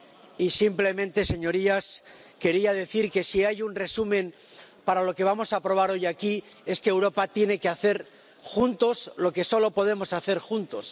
Y simplemente, señorías, quería decir que, si hay un resumen para lo que vamos a aprobar hoy aquí, es que Europa tiene que hacer juntos lo que solo podemos hacer juntos.